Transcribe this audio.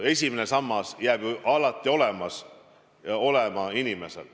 Esimene sammas jääb inimesel ju alati olema.